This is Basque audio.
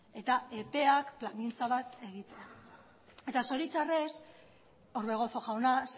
epea plangintza bat eduki egitea eta zoritxarrez orbegozo jauna